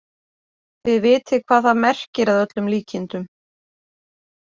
Þið vitið hvað það merkir að öllum líkindum.